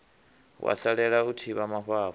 wa salela u thivha mafhafhu